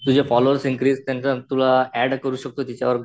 तुझे followers increase केल्या नंतर तुला अँड करू शकतो तिच्यावर